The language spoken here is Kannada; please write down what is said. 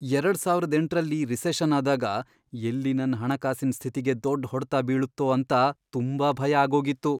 ಎರಡ್ ಸಾವರದ್ ಎಂಟರಲ್ಲಿ, ರಿಸೆಷನ್ ಆದಾಗ ಎಲ್ಲಿ ನನ್ ಹಣಕಾಸಿನ್ ಸ್ಥಿತಿಗೆ ದೊಡ್ಡ್ ಹೊಡ್ತ ಬೀಳತ್ತೋ ಅಂತ ತುಂಬಾ ಭಯ ಆಗೋಗಿತ್ತು.